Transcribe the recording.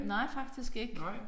Nej faktisk ikke nej